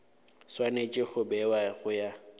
swanetše go bewa go ya